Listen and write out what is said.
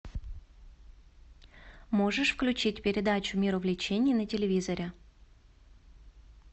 можешь включить передачу мир увлечений на телевизоре